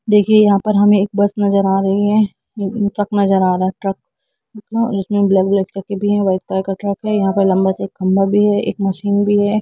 देखिये यहाँ पे हमे एक बस नज़र आ रही है ट्रक नज़र आ रहा है ब्लैक ब्लैक भी वाइट कलर का ट्रक है और लम्बा स खम्बा भी है और एक मशीन भी है।